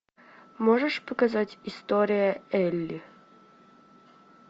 можешь показать история элли